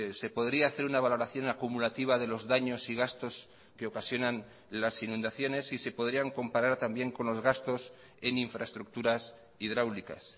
se podría hacer una valoración acumulativa de los daños y gastos que ocasionan las inundaciones y se podrían comparar también con los gastos en infraestructuras hidráulicas